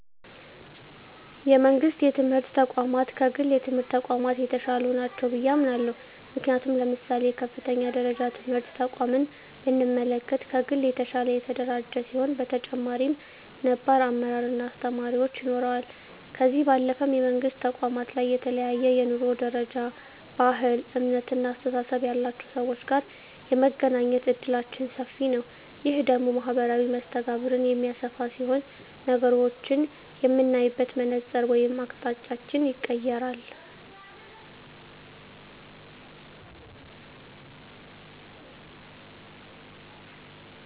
የመንግስት የትምህርት ተቋማት ከግል የትምህርት ተቋማት የተሻሉ ናቸው ብየ አምናለሁ። ምክንያቱም ለምሳሌ የከፍተኛ ደረጃ ትምህርት ተቋምን ብንመለከት ከግል የተሻለ የተደራጀ ሲሆን በተጨማሪም ነባር አመራር እና አስተማሪዎች ይኖረዋል። ከዚህ ባለፈም የመንግስት ተቋማት ላይ ከተለያየ የኑሮ ደረጃ፣ ባህል፣ እምነት እና አስተሳሰብ ያላቸው ሰወች ጋር የመገናኘት እድላችን ሰፊ ነዉ። ይህ ደግሞ ማህበራዊ መስተጋብርን የሚያሰፋ ሲሆን ነገሮችን የምናይበትን መነፀር ወይም አቅጣጫንም ይቀየራል።